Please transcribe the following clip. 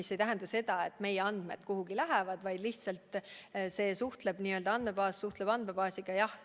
See ei tähenda seda, et meie andmed kuhugi lähevad, lihtsalt üks andmebaas suhtleb teise andmebaasiga.